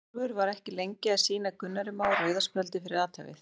Eyjólfur var ekki lengi að sýna Gunnari Má rauða spjaldið fyrir athæfið.